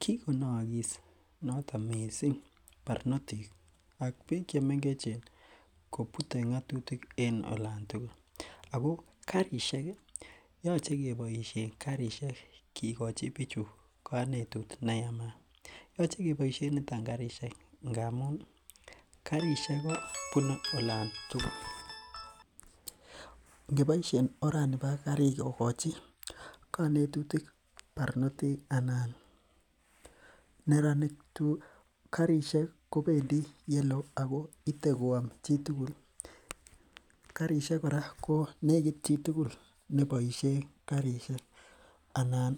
Kikonaagis noton missing barnotik ak bik chemengech kobute ng'atutik en en olan tukul. Ako karisiek ih koyache keboisien karisiek kigochi bichu kanetut neyamaat. Yoche keboisien niton karisiek ngamun ih karisiek kobunei olon tugul, ngeboishien orani bo karisiek kokachi kanetutik barnotik anan neranik tugul. Karisiek kobendii yelo Ako ite koyam chitugul ako negit chitugul nebaishien karisiek. Anan